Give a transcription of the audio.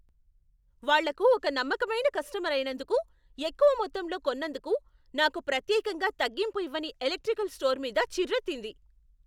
వాళ్లకు ఒక నమ్మకమైన కస్టమర్ అయినందుకు, ఎక్కువ మొత్తంలో కొన్నందుకు నాకు ప్రత్యకంగా తగ్గింపు ఇవ్వని ఎలక్ట్రికల్ స్టోర్ మీద చిర్రెత్తింది.